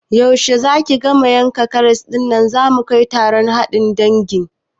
Yaushe zaki gama yankan karas ɗin da zamu kai taron haɗuwan dangin?